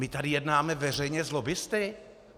My tady jednáme veřejně s lobbisty?